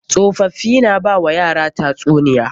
Tsofaffii na ba wa yara tatsuniya.